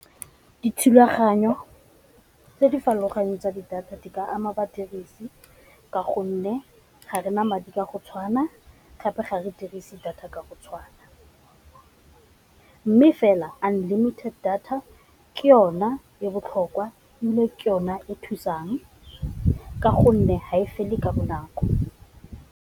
Dithulaganyo tse di farologaneng tsa di data di ba ama badirisi ka gonne ga rena madi ka go tshwana gape ga re dirise data ka go tshwana, mme fela unlimited data ke yona ya botlhokwa ile ke yone e thusang ka gonne ga e fele ka bonako.